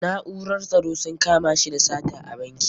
Na'urar tsaro sun kama shi da sata a banki.